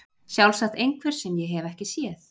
Sjálfsagt einhver sem ég hef ekki séð.